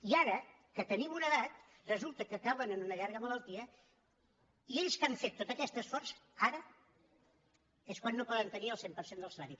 i ara que tenim una edat resulta que cauen en una llarga malaltia i ells que han fet tot aquest esforç ara és quan no poden tenir el cent per cent del salari